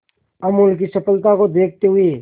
अमूल की सफलता को देखते हुए